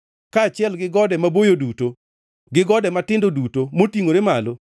kaachiel gi gode maboyo duto gi gode matindo duto motingʼore malo,